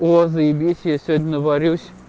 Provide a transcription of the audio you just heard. о заебись я сегодня варюсь